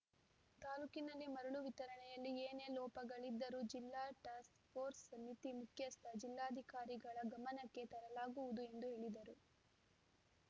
ತಾಲೂಕಿನಲ್ಲಿ ಮರಳು ವಿತರಣೆಯಲ್ಲಿ ಏನೇ ಲೋಪಗಳಿದ್ದರೂ ಜಿಲ್ಲಾ ಟಾಸ್ಕ್‌ಪೋರ್ಸ ಸಮಿತಿ ಮುಖ್ಯಸ್ಥ ಜಿಲ್ಲಾಧಿಕಾರಿಗಳ ಗಮನಕ್ಕೆ ತರಲಾಗುವುದು ಎಂದು ಹೇಳಿದರು